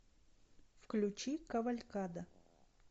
включи кавалькада